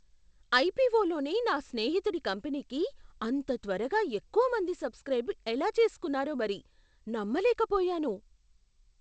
ఐపిఓలోనే నా స్నేహితుడి కంపెనీకి అంత త్వరగా ఎక్కువమంది సబ్స్క్రైబ్ ఎలా చేసుకున్నారో మరి! నమ్మలేకపోయాను.